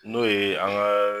N'o ye an ka